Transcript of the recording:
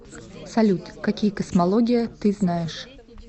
салют какие космология ты знаешь